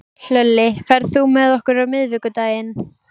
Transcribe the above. Hlölli, ferð þú með okkur á miðvikudaginn?